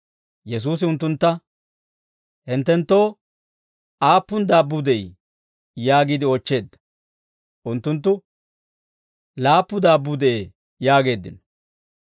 Yesuusi unttuntta, «Hinttenttoo aappun daabbuu de'ii?» yaagiide oochcheedda. Unttunttu, «Laappu daabbuu de'ee» yaageeddino.